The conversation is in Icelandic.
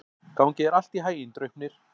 Gangi þér allt í haginn, Draupnir.